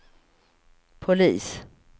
polis